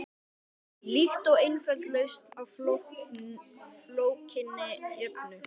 Líkt og einföld lausn á flókinni jöfnu.